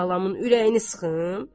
Mən balamın ürəyini sıxım?